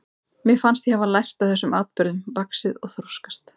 Mér fannst ég hafa lært af þessum atburðum, vaxið og þroskast.